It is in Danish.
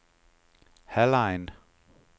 Hallein